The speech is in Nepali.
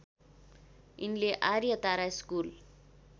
यिनले आर्य तारा स्कुल